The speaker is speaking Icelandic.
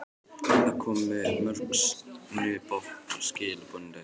Það komu mjög snubbótt skilaboð um daginn.